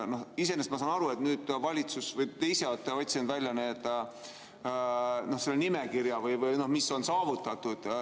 Iseenesest ma saan aru, et te ise olete otsinud välja selle nimekirja, mis on saavutatud.